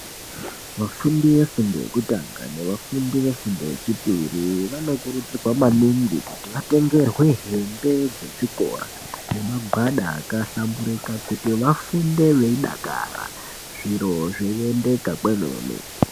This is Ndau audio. Vafundi vefundo yekutanga nevafundi vefundo yechipiri vanokurudzirwa maningi kuti vatengerwe hembe dzechikora nemagwada akahlambirika kuti vafunde veidakara zviro zveiiendeka kwemene.